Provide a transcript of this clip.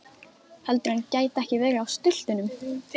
Heldurðu að hann gæti ekki verið á stultunum?